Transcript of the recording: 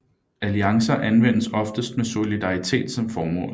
Alliancer anvendes oftest med solidaritet som formål